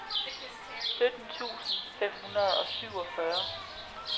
sytten tusind fem hundrede og syvogfyrre